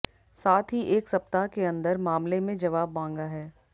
साथ ही एक सप्ताह के अंदर मामले में जवाब मांगा है